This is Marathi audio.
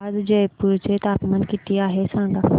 आज जयपूर चे तापमान किती आहे सांगा